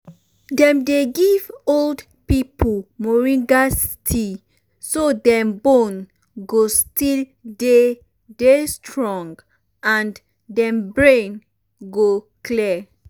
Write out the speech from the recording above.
dem dey give old pipo moringa tea so dem bone go still dey dey strong and dem brain go clear.